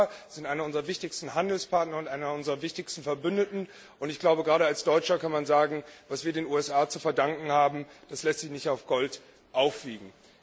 Die USA sind einer unserer wichtigsten Handelspartner und einer unserer wichtigsten Verbündeten, und gerade als Deutscher kann man sagen Was wir den USA zu verdanken haben, das lässt sich nicht mit Gold aufwiegen.